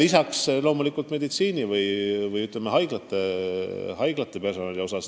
Lisaks peame loomulikult silmas meditsiini- või, ütleme, haiglate personali palku.